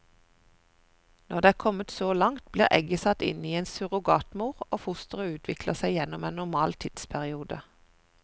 Når det er kommet så langt, blir egget satt inn i en surrogatmor, og fosteret utvikler seg gjennom en normal tidsperiode.